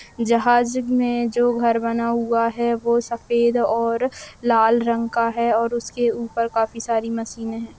जहाज में जो घर बना हुआ हैं वो सफेद और लाल रंग का हैं और उसके ऊपर काफी सारी मशीनें हैं।